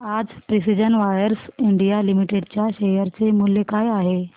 आज precision wires India limited च्या share चे मूल्य काय आहे